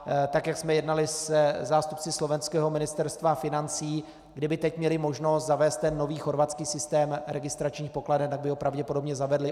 Tak jak jsme jednali se zástupci slovenského Ministerstva financí, kdyby teď měli možnost zavést ten nový chorvatský systém registračních pokladen, tak by ho pravděpodobně zavedli.